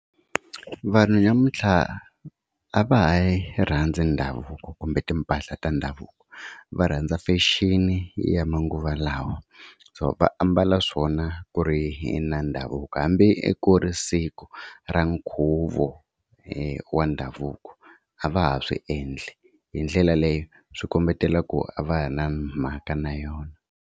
Vanhu namuntlha a va ha yi rhandzi ndhavuko kumbe timpahla ta ndhavuko va rhandza fashion ya manguva lawa, so va ambala swona ku ri na ndhavuko hambi ku ri siku ra nkhuvo wa ndhavuko a va ha swi endli hi ndlela leyo byi kombetela ku a va ha ri na mhaka na yona.